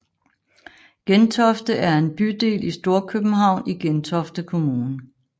Gentofte er en bydel i Storkøbenhavn i Gentofte Kommune